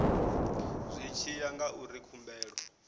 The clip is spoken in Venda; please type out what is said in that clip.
zwi tshi ya ngauri khumbelo